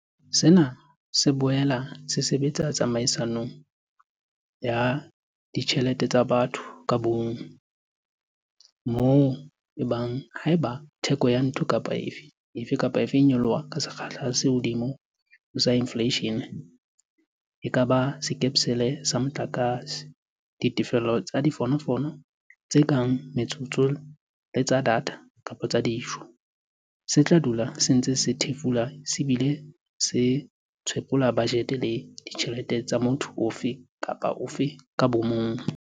Sena se boela se sebetsa tsamaisong ya ditjhe lete tsa batho ka bomong, moo e bang haeba theko ya ntho efe kapa efe e nyoloha ka sekgahla se kahodimo ho sa infleishene - e ka ba sekepele sa motlakase, ditefello tsa difonofono tse kang tsa metsotso le tsa data kapa tsa dijo - se tla dula se ntse se thefula se bile se tshwephola bajete le ditjhelete tsa motho ofe kapa ofe ka bomong.